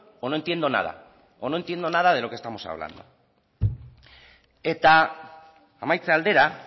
o no entiendo nada o no entiendo nada de lo que estamos hablando eta amaitze aldera